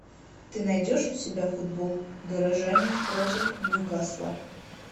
ты найдешь у себя футбол горожане против ньюкасла